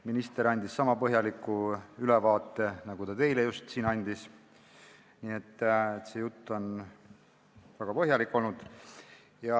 Minister andis komisjonis sama põhjaliku ülevaate nagu ka teile siin, nii et see jutt on olnud väga põhjalik.